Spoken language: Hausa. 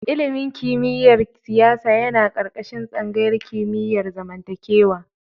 Ilimin kimiyyar siyasa yana ƙarƙashin tsangayar kimiyar zamantakewa.